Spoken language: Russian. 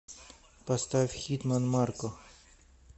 поставь хитман марко